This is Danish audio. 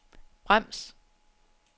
brems